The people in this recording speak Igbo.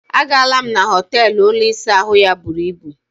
A gaala m na họteelụ ụlọ ịsa ahụ ya buru ibù.